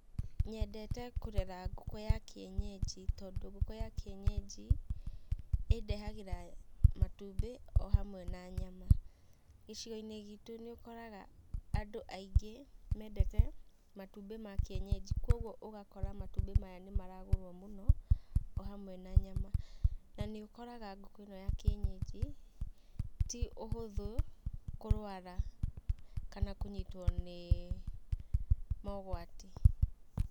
Nyendete kũrera ngũkũ ya kĩenyeji, tondũ ngũkũ ya kĩenyeji, ĩndehagĩra matumbĩ o hamwe na nyama. Gĩcigo-inĩ gitũ nĩũkoraga andũ aingĩ mendete matumbĩ ma kĩenyeji koguo ũgakora matumbĩ maya nĩmaragũrwo mũno o hamwe na nyama. Na nĩ ũkoraga ngũkũ ĩno ya kĩenyeji ti ũhũthũ kũrwara kana kũnyitwo nĩ mogwati.